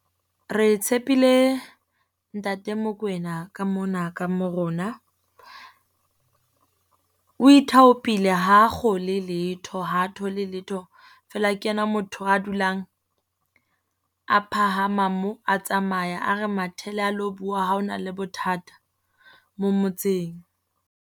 Re tshepile Ntate Mokoena ka mona ka mo rona. O ithaopile ha a kgole letho ha thole letho. Feela ke yena motho a dulang a phahama mo, a tsamaya a re mathele a lo bua, ha ho na le bothata mo motseng.